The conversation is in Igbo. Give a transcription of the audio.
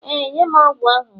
Ee, nye m ogwu ahụ ugbua